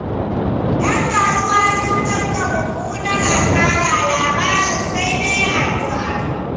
Ƴan kasuwa sun tafka mummunar asarar, lamarin sai dai addu'a.